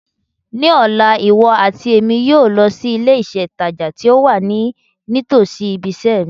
Ní ọ̀la, iwọ àti Èmi yóò lọ si ilé ìtajà ti o wa nítòsí ibiṣẹ́ mi